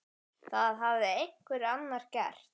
Það hafði einhver annar gert.